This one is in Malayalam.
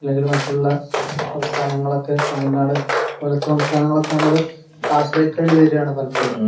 അല്ലെങ്കിൽ മറ്റുള്ള സംസ്ഥാനങ്ങളൊക്കെ തമിഴ്‌നാട്‌ അതുപോലത്തെ സംസ്ഥാനങ്ങളെയൊക്കെ ആശ്രയിക്കേണ്ടി വരികയാണ് പലപ്പോഴും